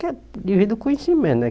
Que é devido ao conhecimen, né?